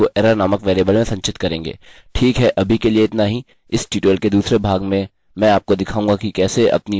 और चलिए कहते हैं हम इसको error नामक वेरिएबल में संचित करेंगे